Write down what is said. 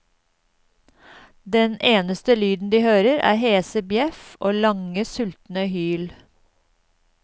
Den eneste lyden de hører er hese bjeff og lange, sultne hyl.